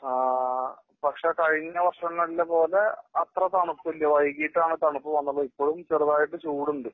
ആ പക്ഷേ കഴിഞ്ഞ വര്ഷങ്ങളിലെ പോലെ അത്ര തണുപ്പില്ല. വൈകീട്ടാണ് തണുപ്പ് വന്നുള്ളു. ഇപ്പോഴും ചെറുതായിട്ട് ചൂടുണ്ട്.